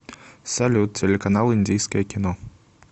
салют телеканал индийское кино